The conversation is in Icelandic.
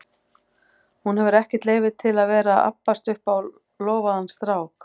Hún hefur ekkert leyfi til að vera að abbast upp á lofaðan strák.